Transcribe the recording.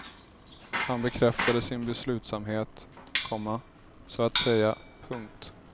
Han bekräftade sin beslutsamhet, komma så att säga. punkt